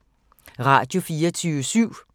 Radio24syv